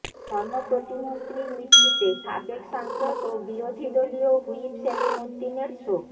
ধর্ম প্রতিমন্ত্রীর মৃত্যুতে সাবেক সাংসদ ও বিরোধীদলীয় হুইপ সেলিম উদ্দিনের শোক